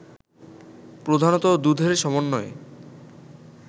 প্রধানত দুধের সমন্বয়ে